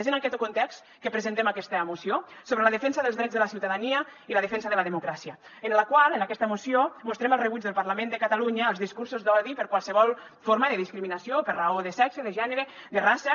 és en aquest context que presentem aquesta moció sobre la defensa dels drets de la ciutadania i la defensa de la democràcia en la qual en aquesta moció mostrem el rebuig del parlament de catalunya als discursos d’odi per qualsevol forma de discriminació per raó de sexe de gènere de raça